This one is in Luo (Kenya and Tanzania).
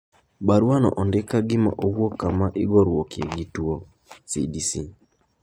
Baruano ondik ka gima owuok kama igoruokie gi tuo (CDC).